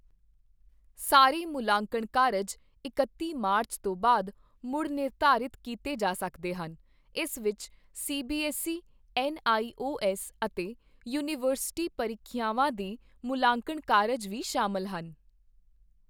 ਸਾਰੇ ਮੁਲਾਂਕਣ ਕਾਰਜ ਇਕੱਤੀ ਮਾਰਚ ਤੋਂ ਬਾਅਦ ਮੁੜ ਨਿਰਧਾਰਿਤ ਕੀਤੇ ਜਾ ਸਕਦੇ ਹਨ, ਇਸ ਵਿੱਚ C B S E, N I O S ਅਤੇ ਯੂਨੀਵਰਸਿਟੀ ਪਰੀਖਿਆਵਾਂ ਦੇ ਮੁੱਲਾਂਕਣ ਕਾਰਜ ਵੀ ਸ਼ਾਮਿਲ ਹਨ।